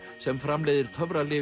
sem framleiðir